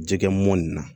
Jɛgɛ mɔnni na